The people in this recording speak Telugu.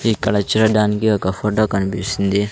ఇక్కడ చూడడానికి ఒక ఫొటో కన్పిస్తుంది.